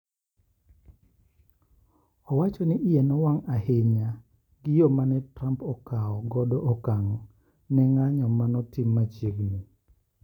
Owacho ni iye nowang' ahinya gi yo ma ne Trump okawo godo okang' ne ng'anyo ma notim machiegni.